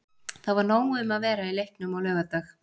Það var nóg um að vera í leiknum á laugardag.